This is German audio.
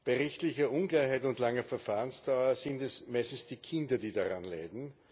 Bei rechtlicher Unklarheit und langer Verfahrensdauer sind es meistens die Kinder, die daran leiden.